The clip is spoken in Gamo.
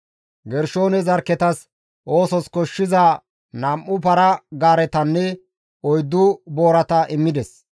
Gershoone zarkketas oosos koshshiza nam7u para-gaaretanne oyddu boorata immides.